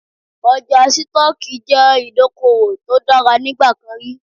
Ọjà Sítọ́ọ́kì jẹ́ ìdókòwò tó dára nígbà kan rí.